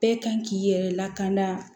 Bɛɛ kan k'i yɛrɛ lakana